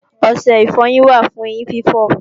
Ọṣẹ ìfọyín wà fún eyín fífọ̀